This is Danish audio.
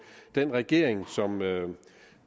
den regering som